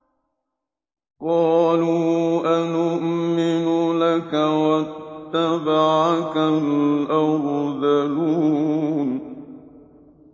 ۞ قَالُوا أَنُؤْمِنُ لَكَ وَاتَّبَعَكَ الْأَرْذَلُونَ